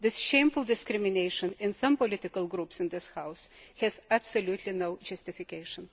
This shameful discrimination in some political groups in this House has absolutely no justification.